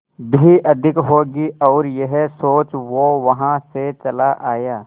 भी अधिक होगी और यह सोच वो वहां से चला आया